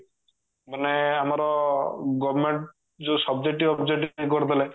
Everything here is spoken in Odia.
ମାନେ ଆମର government ଯଉ subjective objective କରିଦେଲା